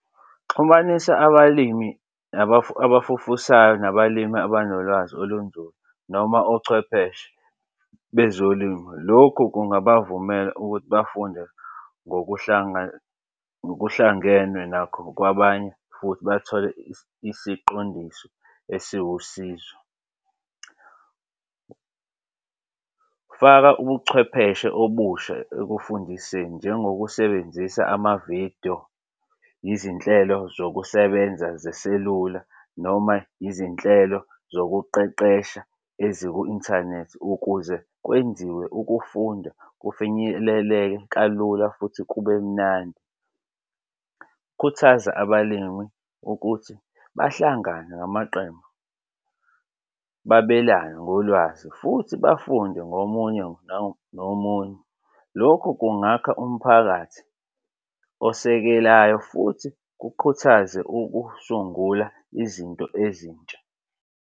Xhumanisa abalimi abafufusayo nabalimi abanolwazi olunzulu noma ochwepheshe bezolimo. Lokhu kungaba vumela ukuthi bafunde ngokuhlangenwe nakho kwabanye futhi bathole isiqondiso esiwusizo. Faka ubuchwepheshe obusha ekufundiseni njengokusebenzisa amavidiyo, izinhlelo zokusebenza zeselula noma izinhlelo zokuqeqesha eziku inthanethi ukuze kwenziwe ukufunda kufinyeleleke kalula futhi kube mnandi. Khuthaza abalimi ukuthi bahlangane ngamaqembu babelane ngolwazi futhi bafunde ngomunye omunye. Lokhu kungakha umphakathi osekelayo futhi kukhuthaze ukusungula izinto ezintsha.